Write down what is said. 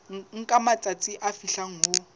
nka matsatsi a fihlang ho